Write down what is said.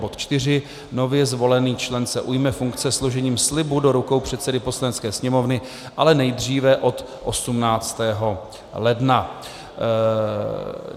Bod IV. Nově zvolený člen se ujme funkce složením slibu do rukou předsedy Poslanecké sněmovny, ale nejdříve od 18. ledna.